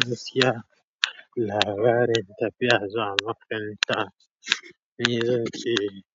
Gaskiya labarin tafiya zuwa makaranta. Ni